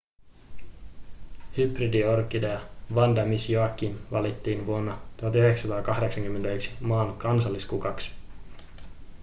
hybridiorkidea vanda miss joaquim valittiin vuonna 1981 maan kansalliskukaksi